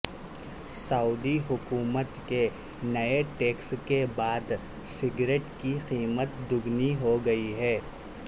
سعودی حکومت کے نئے ٹیکس کے بعد سگریٹ کی قیمت دگنی ہو گئی ہے